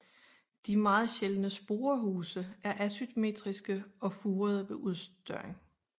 De meget sjældne sporehuse er asymmetriske og furede ved udstørring